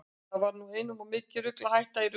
Það var nú einum of mikið rugl að hætta í ruglinu.